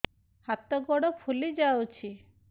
ହାତ ଗୋଡ଼ ଫୁଲି ଯାଉଛି